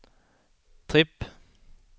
tripp